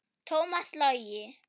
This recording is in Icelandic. Tómas Logi.